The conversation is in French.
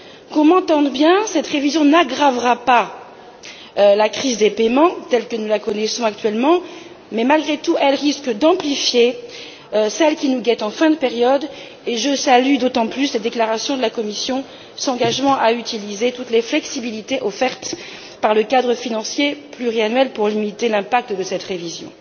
Qu'on m'entende bien, cette révision n'aggravera pas la crise des paiements telle que nous la connaissons actuellement mais malgré tout, elle risque d'amplifier celle qui nous guette en fin de période et je salue d'autant plus les déclarations de la Commission, par lesquelles elle s'engage à utiliser toutes les flexibilités offertes par le cadre financier pluriannuel pour limiter les conséquences de cette révision.